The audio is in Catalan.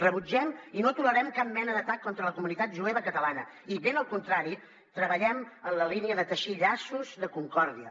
rebutgem i no tolerem cap mena d’atac contra la comunitat jueva catalana i ben al contrari treballem en la línia de teixir llaços de concòrdia